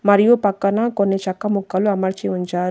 మరియు పక్కన కొన్ని చెక్క ముక్కలు అమర్చి ఉంచారు.